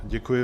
Děkuji.